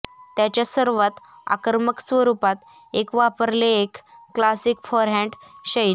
त्याच्या सर्वात आक्रमक स्वरूपात एक वापरले एक क्लासिक फोरहॅंड शैली